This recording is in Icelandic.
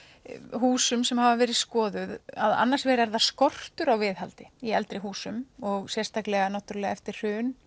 húsum sem hafa verið skoðuð að annars vegar er það skortur á viðhaldi í eldri húsum og sérstaklega eftir hrun